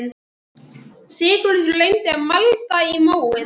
Sigurður reyndi að malda í móinn